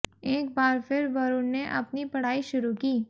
एक बार फिर वरुण ने अपनी पढ़ाई शुरू की